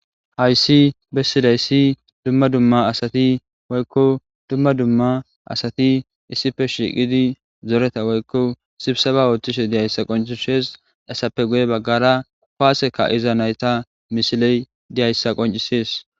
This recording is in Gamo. hayssi bessidayssi dumma dumma asati woykko dumma dumma asati issife shiiqidi zoreta woykko sibsa ba oothtishe diyayssa qoncishees asappe guye baggara paaseka iza nayta misiley diyayssa qoncisees